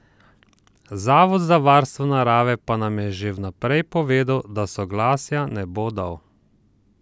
Zavod za varstvo narave pa nam je že vnaprej povedal, da soglasja ne bo dal.